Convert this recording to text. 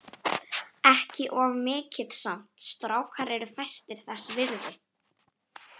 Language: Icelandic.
Ekki of mikið samt, strákar eru fæstir þess virði.